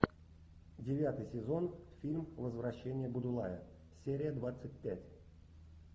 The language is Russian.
девятый сезон фильм возвращение будулая серия двадцать пять